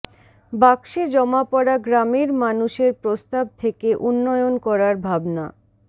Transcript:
বাক্সে জমা পড়া গ্রামের মানুষের প্রস্তাব থেকে উন্নয়ন করার ভাবনা